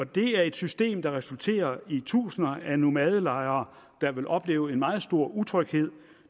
det er et system der resulterer i tusinder af nomadelejere der vil opleve en meget stor utryghed